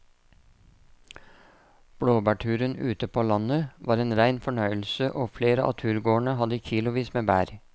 Blåbærturen ute på landet var en rein fornøyelse og flere av turgåerene hadde kilosvis med bær.